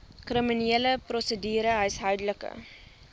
kriminele prosedure huishoudelike